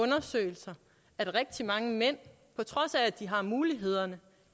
af undersøgelser at rigtig mange mænd på trods af at de har mulighederne